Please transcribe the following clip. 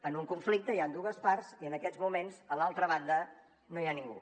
en un conflicte hi han dues parts i en aquests moments a l’altra banda no hi ha ningú